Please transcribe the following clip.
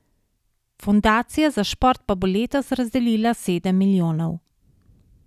Fundacija za šport pa bo letos razdelila sedem milijonov.